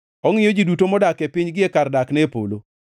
ongʼiyo ji duto modak e piny gie kar dakne e polo,